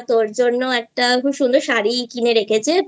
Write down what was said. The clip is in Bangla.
তোর জন্য একটা সুন্দর শাড়ি কিনে রেখেছে